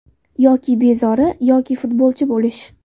Yoki bezori, yoki futbolchi bo‘lish”.